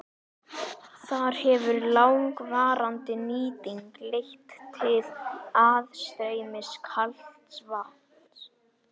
Þar hefur langvarandi nýting leitt til aðstreymis kalds vatns.